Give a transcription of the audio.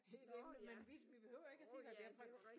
Et emne men hvis vi behøver ikke at sige hvad vi